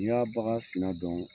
Ni y'a bagan sina dɔn